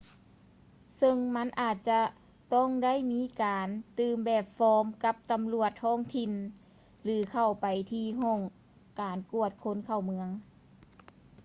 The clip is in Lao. ເຊິ່ງມັນອາດຈະຕ້ອງໄດ້ມີການຕື່ມແບບຟອມກັບຕຳຫຼວດທ້ອງຖິ່ນ ຫຼື ເຂົ້າໄປທີ່ຫ້ອງການກວດຄົນເຂົ້າເມືອງ